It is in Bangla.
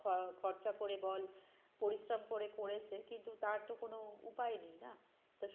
আহ খরচা করে বল পরিশ্রম করে পড়েছে কিন্তু তার তো কোনো উপায় নেই না তো কিছু না কিছু তো একটা করতে হবে তার জন্য সে